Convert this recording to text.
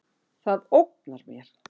Það ógnar mér.